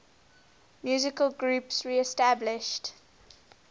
musical groups reestablished